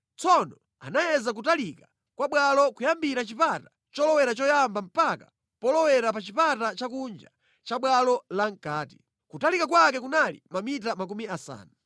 Tsono, anayeza kutalika kwa bwalo kuyambira chipata cholowera choyamba mpaka polowera pa chipata chakunja cha bwalo la mʼkati. Kutalika kwake kunali mamita makumi asanu.